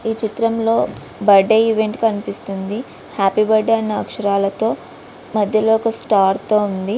ఈ చిత్రమ్ లో బర్త్డే ఈవెంట్ కనిపిస్తోంది హ్యాపీ బర్త్డ అనే అక్షరాలతో మధ్యలో ఒక స్టార్ తో ఉంది.